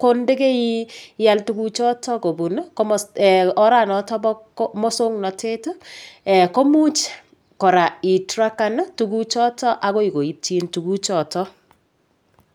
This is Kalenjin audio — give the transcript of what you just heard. ko ndikeial tuguchoto kobun oranoto bo mosong'natet komuch kora itrakan tukuchoto akoi koityin tuguchoto